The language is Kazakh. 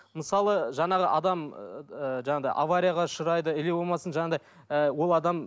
мысалы жаңағы адам ыыы жаңағыдай аварияға ұшырайды или болмасын жаңағындай ы ол адам